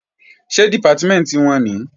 Ṣé Dìpátímẹ̀ntì wọn nìí?